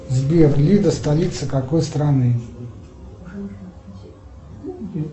сбер лида столица какой страны